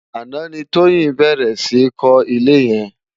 Aná ni Toyin bèrè si kò ilé yèn